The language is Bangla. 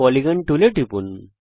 পলিগন টুলে টিপুন